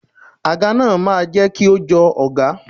Àga náà máa jẹ́ kí o jọ ọọ̀gá.